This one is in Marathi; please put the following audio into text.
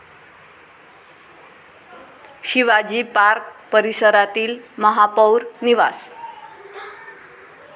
शिवाजी पार्क परिसरातील महापौर निवास